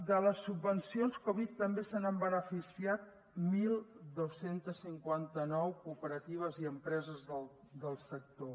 de les subvencions covid també se n’han beneficiat dotze cinquanta nou cooperatives i empreses del sector